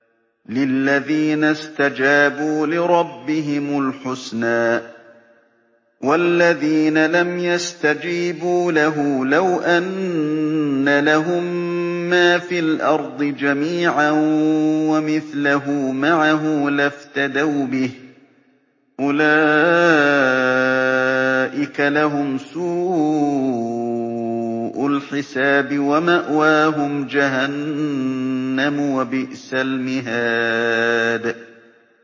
لِلَّذِينَ اسْتَجَابُوا لِرَبِّهِمُ الْحُسْنَىٰ ۚ وَالَّذِينَ لَمْ يَسْتَجِيبُوا لَهُ لَوْ أَنَّ لَهُم مَّا فِي الْأَرْضِ جَمِيعًا وَمِثْلَهُ مَعَهُ لَافْتَدَوْا بِهِ ۚ أُولَٰئِكَ لَهُمْ سُوءُ الْحِسَابِ وَمَأْوَاهُمْ جَهَنَّمُ ۖ وَبِئْسَ الْمِهَادُ